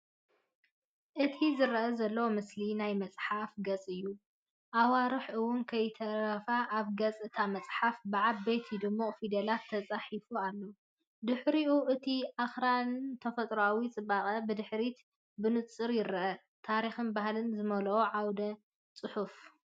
እቲ ዝርአ ዘሎ ምስሊ ናይ መጽሓፍ ገጽ እዩ። ኣዋርሕ እውን ከይተረፈ ኣብ ገጽ እታ መጽሓፍ ብዓበይቲ ድሙቕ ፊደላት ተጻሒፉ ኣሎ፣ ድሕሪኡ እቲ ኣኽራንን ተፈጥሮኣዊ ጽባቐን ብድሕሪት ብንጹር ይርአ። ታሪኽን ባህልን ዝመልአ ዓውደ-ጽሑፍ።